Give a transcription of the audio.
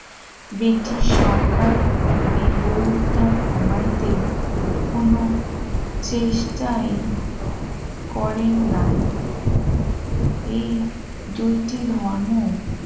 British সরকার এই গৌরী তা কমাইতে কোন চেষ্টায় করেন নাই এই দুইটি ধর্ম